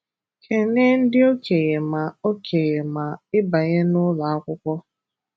Kenee ndị okenye ma okenye ma ịbanye n'ụlọ akwụkwọ.